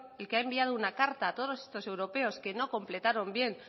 el que ha enviado una carta a todos estos europeos que no completaron bien